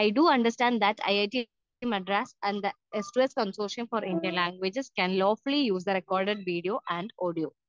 speaker 2 we do understand that it Madras and the express conclusion for Indian languages can ലോപ്ലി the record video and audio